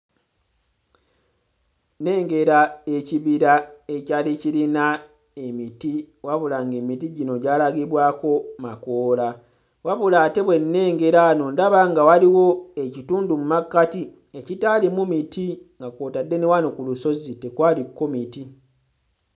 Nnengera ekibira ekyali kirina emiti wabula ng'emiti gino gyalagibwako makoola wabula ate bwe nnengera wano ndaba nga waliwo ekitundu mmakkati ekitaalimu miti nga kw'otadde ne wano ku lusozi tekwaliko miti.